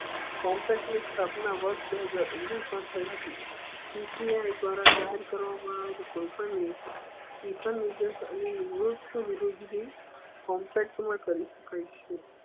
contact ની સ્થાપના વર્ષ બે હજાર ઓઘ્નીસ મા થઇ હતી પી સી આઈ દ્વારા જહીર કરવામા આવેલું કોઈ પણ કોન્ટેક મા કરી સકાય છે